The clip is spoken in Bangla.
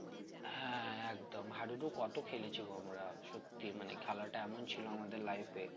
হ্যাঁ একদম হাডুডু কত খেলেছি গো আমরা সত্যি মানে খেলাটা এমন ছিল আমাদের life এ